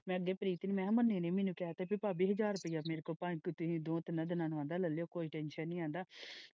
ਮੈਂ ਅੱਗੇ ਪ੍ਰੀਤ ਨੂੰ ਕਹਿਆ ਕੀ ਨੇ ਨਹੀਂ ਮੈਨੂੰ ਕਹਿਆ ਭਾਬੀ ਹਾਜ਼ਰ ਰੁਪਈਆ ਮੇਰੇ ਕੋਲ ਪੰਜ ਸੋ ਦੋ ਤਿੰਨਾਂ ਦਿਨਾਂ ਨੂੰ ਲੈ ਲਿਆਉ ਕੋਈ ਟੈਨਸ਼ਨ ਨਹੀਂ।